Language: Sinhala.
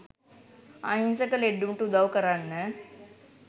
අහිංසක ලෙඩ්ඩුන්ට උදව් කරන්න